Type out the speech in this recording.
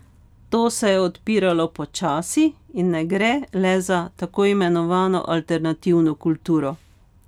To se je odpiralo počasi in ne gre le za tako imenovano alternativno kulturo.